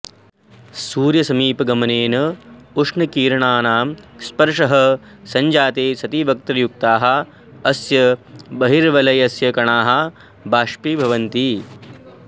सूर्यसमीपगमनेन उष्णकिरणानां स्पर्शः सञ्जाते सति वक्रयुक्ताः अस्य बहिर्वलयस्य कणाः बाष्पीभवन्ति